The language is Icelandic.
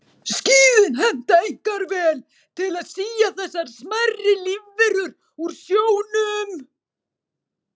Skíðin henta einkar vel til að sía þessar smærri lífverur úr sjónum.